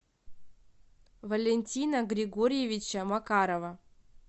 валентина григорьевича макарова